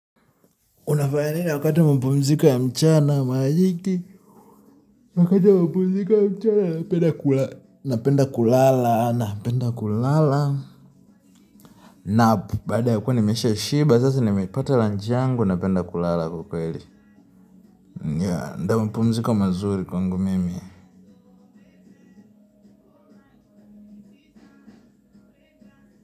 Unafanya nini wakati wa mapumziko ya mchana? Wakati wa mapumziko ya mchana napenda kulala napenda kulala. Na baada ya kuwa nimeshashiba sasa nimepatwa lunch yangu napenda kulala ukweli. Ndio mapumziko mazuri kwangu mimi.